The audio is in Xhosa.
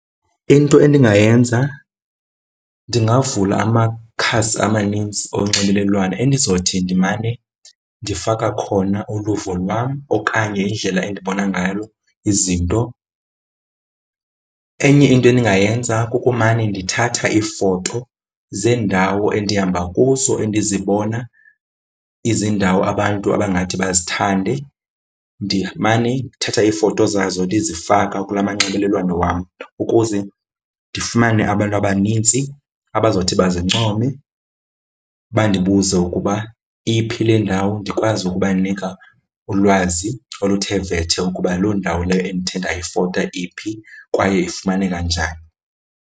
Into endingayenza, ndingavula amakhasi amanintsi onxibelelwano endizothi ndimane ndifaka khona uluvo lwam okanye indlela endibona ngayo izinto. Enye into endingayenza kukumane ndithatha iifoto zeendawo endihamba kuzo endizibona izindawo abantu abangathi bazithande. Ndimane ndithatha iifoto zazo ndizifaka kula manxibelelwano wam ukuze ndifumane abantu abanintsi abazawuthi bazincome, bandibuze ukuba iphi le ndawo ndikwazi ukubanika ulwazi oluthe vetshe ukuba loo ndawo leyo endithe ndayifota iphi kwaye ifumaneka njani.